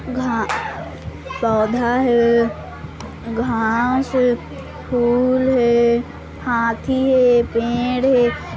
घा पौधा हे घास हे फूल हे हाथी हे पेड़ हे।